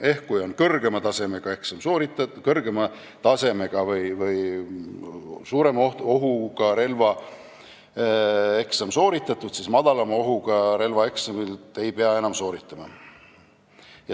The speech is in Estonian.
Ehk kui on sooritatud kõrgema tasemega või suurema ohuga relva eksam, siis madalama ohuga relva eksamit ei pea enam sooritama.